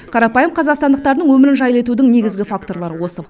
қарапайым қазақстандықтардың өмірін жайлы етудің негізгі факторлары осы